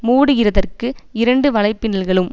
மூடுகிறதற்கு இரண்டு வலைப்பின்னல்களும்